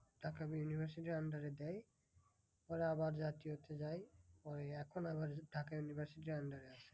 Dhaka university র under এ দেয় পরে আবার জাতীয়তে দেয়। পরে এখন আবার ঢাকা university র under এ আছে।